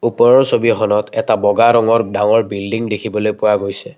ওপৰৰ ছবিখনত এটা বগা ৰঙৰ ডাঙৰ বিল্ডিং দেখিবলৈ পোৱা গৈছে।